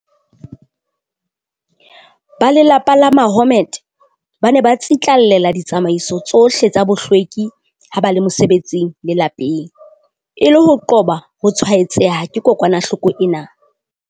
Ba lelapa la Mahommed ba ne ba tsitlallela ditsamaiso tsohle tsa bohlweki ha ba le mosebetsing le lapeng, e le ho qoba ho tshwaetseha ke kokwanahloko ena.